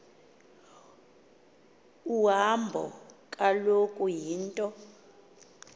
uhambo kaloku yinto